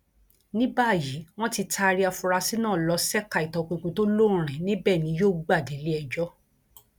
ní báyìí wọn ti taari àfúráṣí náà lọ ṣèkà ìtọpinpin tó lóòrín níbẹ ni yóò gbà déléẹjọ